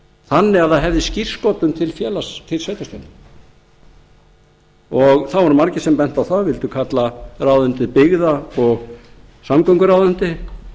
þannig að það hefði skírskotun til sveitarstjórnanna og það voru margir sem bentu á það vildu kalla ráðuneytið byggða og samgönguráðuneyti